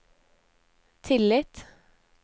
tillit